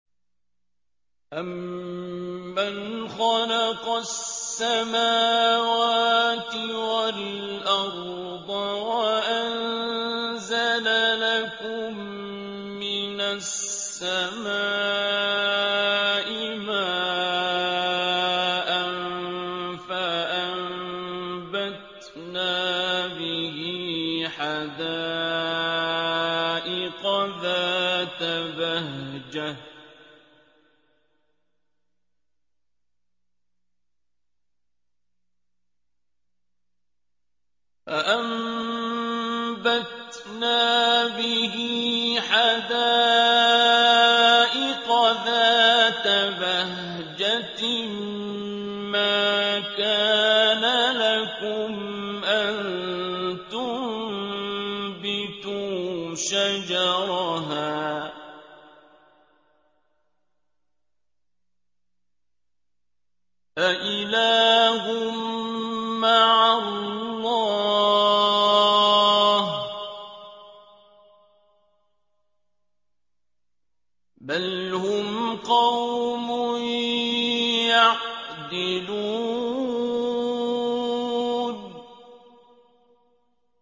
أَمَّنْ خَلَقَ السَّمَاوَاتِ وَالْأَرْضَ وَأَنزَلَ لَكُم مِّنَ السَّمَاءِ مَاءً فَأَنبَتْنَا بِهِ حَدَائِقَ ذَاتَ بَهْجَةٍ مَّا كَانَ لَكُمْ أَن تُنبِتُوا شَجَرَهَا ۗ أَإِلَٰهٌ مَّعَ اللَّهِ ۚ بَلْ هُمْ قَوْمٌ يَعْدِلُونَ